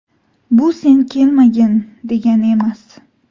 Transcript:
Bu sen kelmagin, degani emas.